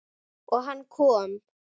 Og hann kom.